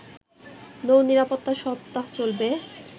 নৌ নিরাপত্তা সপ্তাহ চলবে